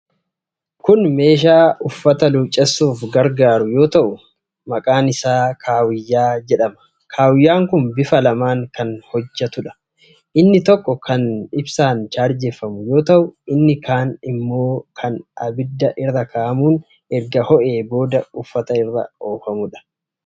Kun meeshaa uffata luuccessuuf gargaaru, kan maqaan isaa kaawiyyaa jedhamuudha. Kaawiyyaan kun bifa lamaan kan hojjatuudha. Inni tokko kan chaarjeffamuu fi inni kaan ammoo Ibiddi irra kaa'amuun eerga ho'ee booda uffata irra oofama.